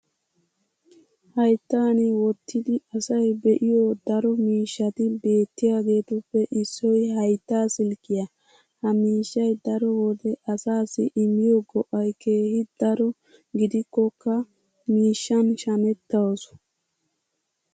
hayttan wottidi asay be'iyo daro miishshati beetiyaageetuppe issoy haytta silkkiya. ha miishshay daro wode asaassi immiyo go'ay keehi daro gidikkokka miishshan shametawusu.